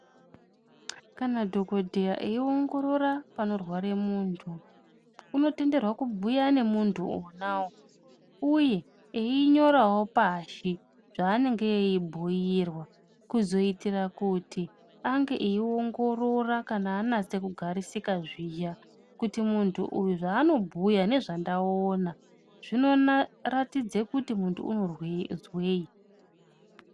Kana dhokodheya eiongorora panorware muntu, unotenderwa kubhuya nemuntu onawo uye einyorawo pashi zvaanenge eibhuirwa kuzoitira kuti ange eiongorora kana anase kugarisika zviya kuti muntu uyu zvaano bhuya nezvandaona zvinoratidza kuti muntu unozwei.